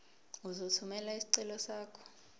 uzothumela isicelo sakho